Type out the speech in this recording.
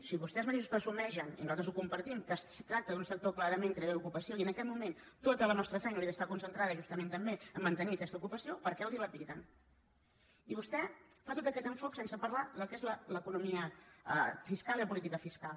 si vostès mateixos presumeixen i nosaltres ho compartim que es tracta d’un sector clarament creador d’ocupació i en aquest moment tota la nostra feina hauria d’estar concentrada justament també a mantenir aquesta ocupació per què ho dilapiden i vostè fa tot aquest enfocament sense parlar del que són l’economia fiscal i la política fiscal